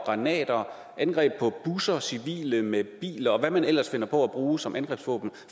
granater angreb på busser og civile med biler og hvad man ellers finder på at bruge som angrebsvåben